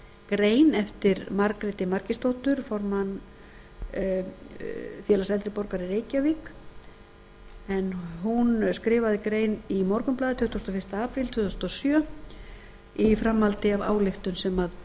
grein eftir margréti margeirsdóttur formann félags eldri borgara í reykjavík en hún skrifaði grein í morgunblaðið tuttugasta og fyrsti apríl tvö þúsund og sjö í framhaldi af ályktun sem